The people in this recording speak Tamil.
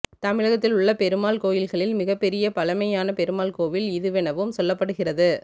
தமிழகத்தில் உள்ள பெருமாள் கோவில்களில் மிக பெரிய பழமையான பெருமாள் கோவில்இதுவெனவும் சொல்லப்படுகிறது